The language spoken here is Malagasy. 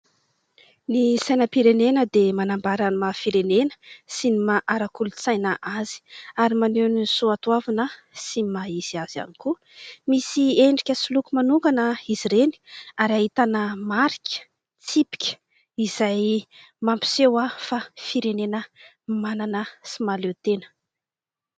Ny sainam-pirenena dia manambara ny maha-firenena sy ny maha ara-kolontsaina azy. Ary maneho ny soa toavina sy ny maha-izy azy ihany koa. Misy endrika sy loko manokana izy ireny ary ahitana marika, tsipika izay mampiseho fa firenena manana sy mahaleo tena.